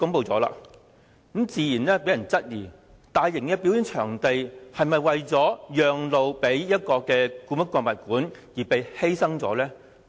這項安排自然令人懷疑，大型表演場地是否為"讓路"予故宮館而被白白犧牲。